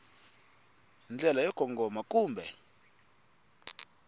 hi ndlela yo kongoma kumbe